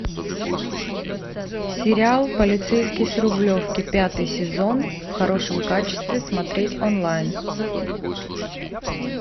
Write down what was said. сериал полицейский с рублевки пятый сезон в хорошем качестве смотреть онлайн